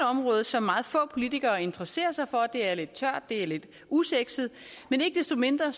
område som meget få politikere interesserer sig for det er lidt tørt det er et lidt usexet men ikke desto mindre er